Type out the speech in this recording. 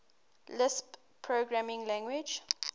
lisp programming language